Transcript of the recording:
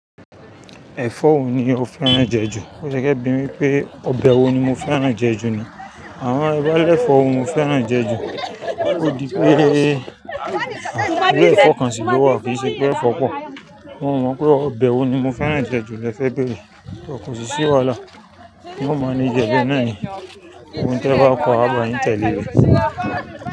Ẹ̀fọ́ wo ni o fẹ́ràn jẹ jù? Ó fe bí mi wípé ọbẹ̀ wo ni mo fẹ́ràn jẹ jù ni. Àwọn eyi to ba lẹ́fọ́ ni mo fẹ́ràn jẹ jù? Ó di pé irú ẹ̀fọ́ kan sì ló wà, kì í ṣe pé ẹ̀fọ́ pọ̀. Mo mọ̀ pé ọbẹ̀ wo ni mo fẹ́ràn jẹ jù, lẹ fẹ́ bẹrẹ. Kọ̀ sì ṣí wàhálà, mo manage e bẹ́ẹ̀ náà ni. Ohun tí ẹ bá kọ́ á gba yín tẹ̀le rí.